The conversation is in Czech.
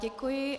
Děkuji.